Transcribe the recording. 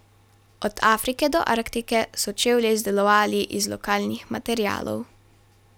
Od Afrike do Arktike so čevlje izdelovali iz lokalnih materialov.